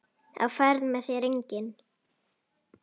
Á ferð með þér enginn.